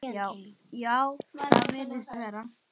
Já, það virðist vera.